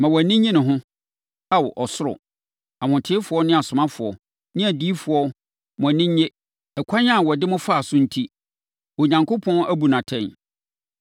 “Ma wʼani nnye ne ho. Ao, ɔsoro! Ahotefoɔ ne asomafoɔ ne adiyifoɔ mo ani nnye! Ɛkwan a ɔde mo faa so enti, Onyankopɔn abu no atɛn.”